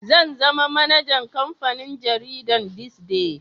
Zan zama manajan kamfanin jaridan "this day"